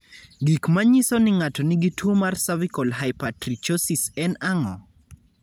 Gik manyiso ni ng'ato nigi tuwo mar cervical hypertrichosis en ang'o?